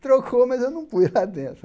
Trocou, mas eu não fui lá dentro.